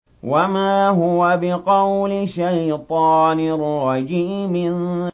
وَمَا هُوَ بِقَوْلِ شَيْطَانٍ رَّجِيمٍ